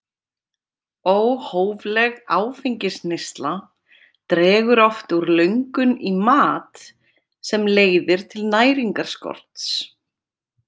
Óhófleg áfengisneysla dregur oft úr löngun í mat sem leiðir til næringarskorts.